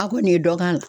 A ko nin ye dɔ k'a la